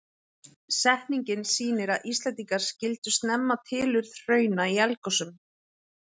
Setningin sýnir að Íslendingar skildu snemma tilurð hrauna í eldgosum.